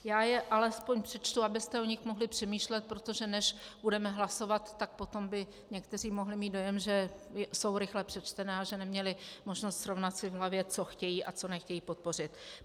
Já je alespoň přečtu, abyste o nich mohli přemýšlet, protože než budeme hlasovat, tak potom by někteří mohli mít dojem, že jsou rychle přečtené a že neměli možnost srovnat si v hlavě, co chtějí a co nechtějí podpořit.